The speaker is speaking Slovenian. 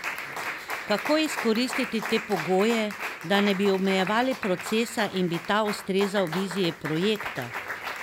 Kako izkoristiti te pogoje, da ne bi omejevali procesa in bi ta ustrezal viziji projekta?